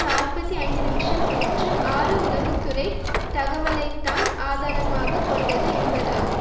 நாற்பத்தி ஐந்துநிமிஷ கூற்று ஆறு உளவு துறை தகவலை தான் ஆதாரமாக கொண்டது என்பதுமாகும்